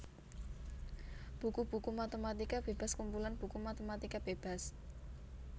Buku buku matématika bébas Kumpulan buku matématika bébas